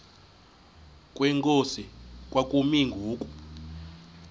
kwenkosi kwakumi ngoku